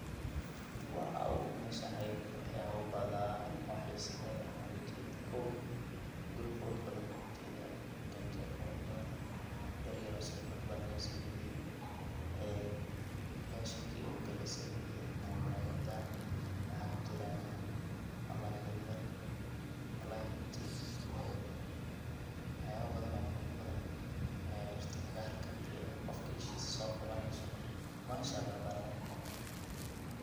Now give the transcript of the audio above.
Wow! Meshan ayada eh wax yaba badaan oo xisa leh ayan oga jeda. kow, guri qurux badaan ban oga jedaa, ganjel qurux badaan, bir yar oo si qurux badan loo sameeye ee mesha kiyowga lasameeye ama murayada waxa kujiran yacnii malay yaryar, wallahi runtii waxyaba badan oo qurux badan, ee dhirta xagaarta ee qofka ishisa soo qabaneyso. Masha Allah ban leyahay aniga